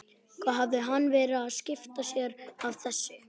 Hvað hafði hann verið að skipta sér af þessu?